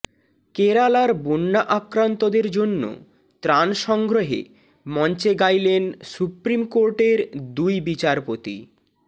কেরালার বন্যা আক্রান্তদের জন্য ত্রাণ সংগ্রহে মঞ্চে গাইলেন সুপ্রিম কোর্টের দুই বিচারপতি